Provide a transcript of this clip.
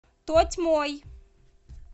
тотьмой